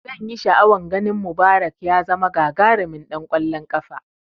Zanyi sha'awan ganin Mubarak ya zama gagarimin ɗan kwallon kafa